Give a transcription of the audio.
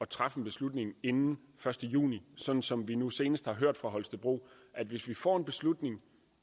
træffe en beslutning inden den første juni sådan som vi nu senest har hørt fra holstebro hvis vi får en beslutning